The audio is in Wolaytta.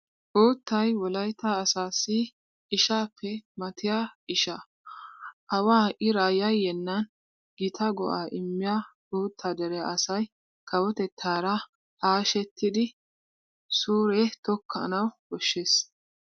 Uuttay wolaytta asaassi ishaappe matattiya isha. Awaa iraa yayyennan gita go"aa immiya uuttaa dere asay kawotettaara hashetidi suure tokkanawu koshshees.